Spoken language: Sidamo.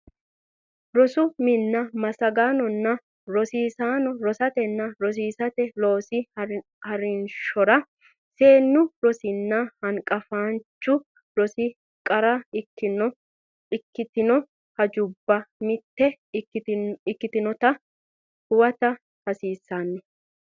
Rosu minna massagaanonna rosiisaano rosatenna rosiisate loosi ha rinshora seennu rosinna hanqafaanchu rosi qara ikkitino hajubba mitto ikkinota huwata hasiissannonsa.